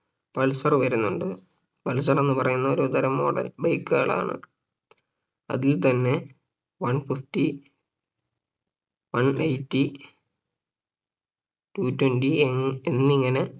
pulser വരുന്നുണ്ട് pulsar എന്ന് പറയുന്നത് ഒരുതരം model bike കളാണ് അതിൽ തന്നെ one fifty one eighty two twenty A എന്നിങ്ങനെ